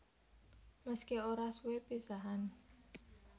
Meski ora suwe pisahan